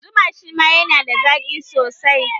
Zuma shima yana da zaƙi sosai